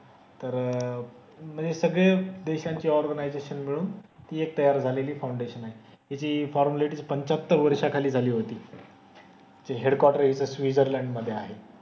तर म्हणजे सगळे देशांचे ऑर्गनाईझेशन मिळून ती एक तयार झालेली फाउंडेशन आहे. तिची फॉर्मॅलिटी पंच्याहत्तर वर्षाखाली झाली होती. ते हेडक्वार्टर इथं स्वित्झरलँड मधे आहे.